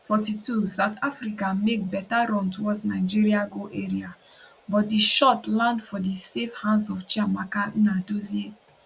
42 south africa make beta run towards nigeria goal area but di shot land for di safe hands of chiamaka nnadozie